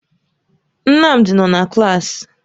Nnamdi nọ na klaasị.